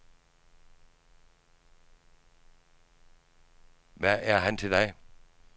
Hvad er han til dig?